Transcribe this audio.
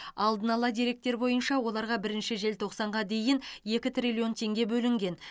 алдын ала деректер бойынша оларға бірінші желтоқсанға дейін екі триллион теңге бөлінген